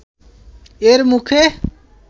এর মুখে